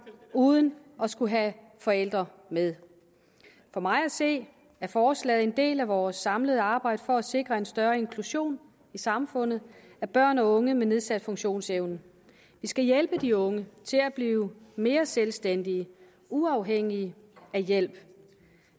uden at skulle have forældre med for mig at se er forslaget en del af vores samlede arbejde for at sikre større inklusion i samfundet af børn og unge med nedsat funktionsevne vi skal hjælpe de unge til at blive mere selvstændige uafhængige af hjælp